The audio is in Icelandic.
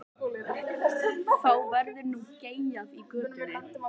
Þá verður nú geyjað í götunni.